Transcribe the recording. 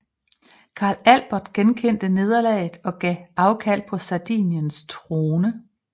Karl Albert erkendte nederlaget og gav afkald på Sardiniens trone